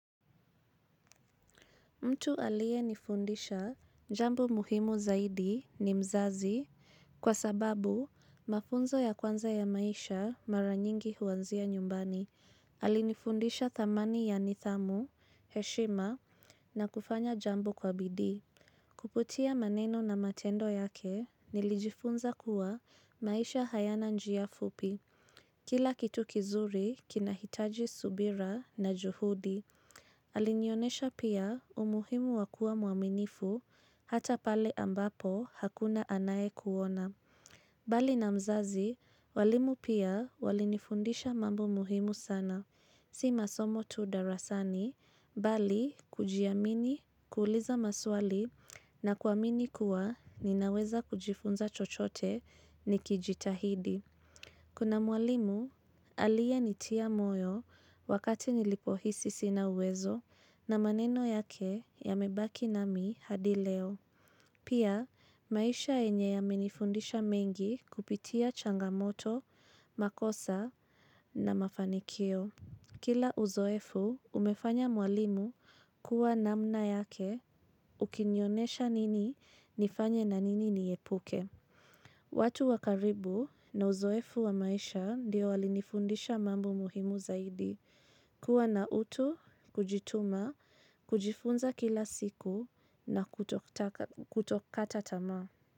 Mtu alie nifundisha jambo muhimu zaidi ni mzazi. Kwa sababu mafunzo ya kwanza ya maisha mara nyingi huanzia nyumbani. Alinifundisha thamani ya nithamu, heshima na kufanya jambo kwa bidii. Kuputia maneno na matendo yake, nilijifunza kuwa maisha hayana njia fupi. Kila kitu kizuri kinahitaji subira na juhudi. Alinyonesha pia umuhimu wa kuwa muaminifu hata pale ambapo hakuna anayekuona. Bali na mzazi, walimu pia walinifundisha mambo muhimu sana. Si masomo tu darasani, bali kujiamini, kuuliza maswali na kuamini kuwa ninaweza kujifunza chochote nikijitahidi. Kuna mwalimu alie nitia moyo wakati nilipo hisi sina uwezo na maneno yake yamebaki na mi hadi leo. Pia maisha yenye yame nifundisha mengi kupitia changamoto, makosa na mafanikio. Kila uzoefu umefanya mwalimu kuwa namna yake ukinionesha nini nifanye na nini niepuke. Watu wakaribu na uzoefu wa maisha ndio walinifundisha mambo muhimu zaidi. Kuwa na utu, kujituma, kujifunza kila siku na kutokata tamaa.